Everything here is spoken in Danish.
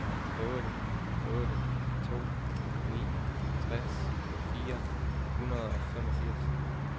otte otte to ni tres fire hundrede og femogfirs